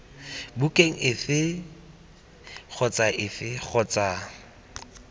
bukeng efe kgotsa efe kgotsa